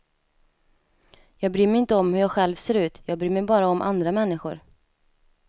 Jag bryr mig inte om hur jag själv ser ut, jag bryr mig bara om andra människor.